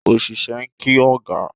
Osise n ki oga.